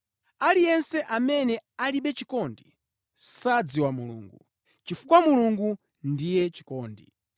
Aliyense amene alibe chikondi sadziwa Mulungu, chifukwa Mulungu ndiye chikondi.